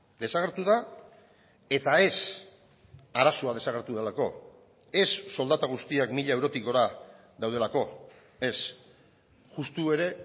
desagertu da eta ez arazoa desagertu delako ez soldata guztiak mila eurotik gora daudelako ez justu ere